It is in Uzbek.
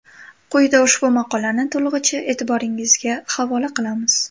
Quyida ushbu maqolani to‘lig‘icha e’tiborigizga havola qilamiz.